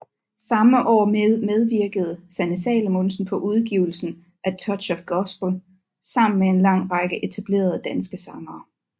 Samme år medvirkede Sanne Salomonsen på udgivelsen A Touch of Gospel sammen med en lang række etablerede danske sangere